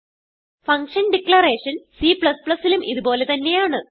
function declaration C ലും ഇത് പോലെ തന്നെയാണ്